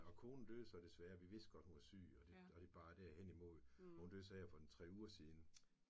Og konen døde så desværre. Vi vidste godt hun var syg og det og det bar derhen imod. Hun døde så for en 3 uger siden